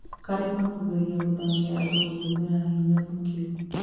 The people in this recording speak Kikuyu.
Karima kugeria gũthamia andũ gũtũmira hinya mũkĩru